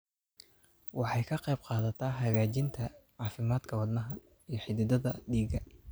Waxay ka qaybqaadataa hagaajinta caafimaadka wadnaha iyo xididdada dhiigga.